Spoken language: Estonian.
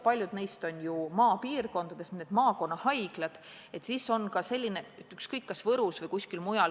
Paljud neist on maapiirkondades, need on maakonnahaiglad, sellised, nagu on Võrus ja mujal.